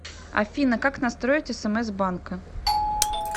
афина как настроить смс банка